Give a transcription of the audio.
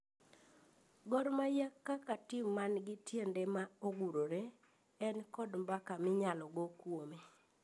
Gor mahia kaka tim man gi tiende ma ogurore ,en kod mbaka ma inyalo go kuome